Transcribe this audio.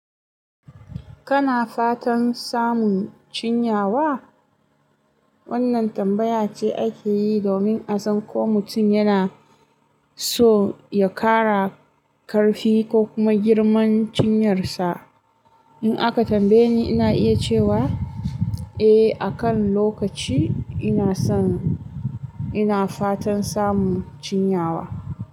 Kana fatan samun cinyawa? Wannan tambaya ce ake yi domin a san ko mutum yana so ya ƙara ƙarfi ko kuma girman cinyarsa. In aka tambaye ni, ina iya cewa, "Eh, a kan lokaci ina san ina fatan samu cinyawa."